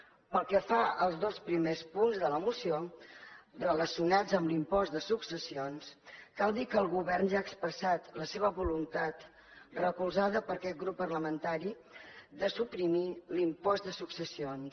pel que fa als dos primers punts de la moció relacionats amb l’impost de successions cal dir que el govern ja ha expressat la seva voluntat recolzada per aquest grup parlamentari de suprimir l’impost de successions